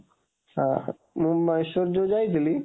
ଆଁ ମୁଁ ମହୀଶୂର ଯୋଉ ଯାଇଥିଲି,